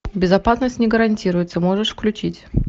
безопасность не гарантируется можешь включить